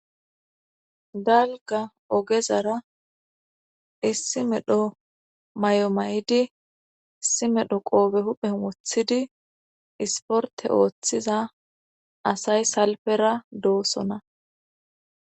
galga ogezara issi medho may7o maydi issi medho qoobe huphe wothidi isporte ooththiza asay salpera doosona